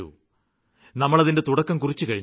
നമ്മള് അതിന്റെ തുടക്കം കുറിച്ചുകഴിഞ്ഞു